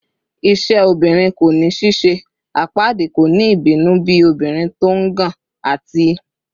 "Iṣẹ obirin ko ni ṣiṣe," "Apaadi ko ni ibinu bi obirin ti o ngàn," ati